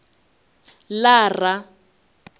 lara